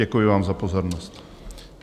Děkuji vám za pozornost.